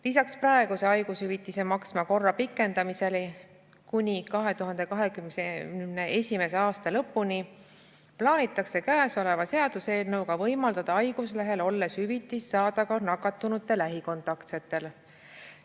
Lisaks praeguse haigushüvitise maksmise korra pikendamisele kuni 2021. aasta lõpuni plaanitakse käesoleva seaduseelnõuga võimaldada haiguslehel olles hüvitist saada ka nakatunute lähikontaktsetel.